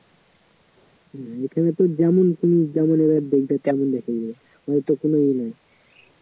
হম এখানে তো যেমন তুমি যেমন এরা দেখবে তেমন এখানে তো কোনো ই নেই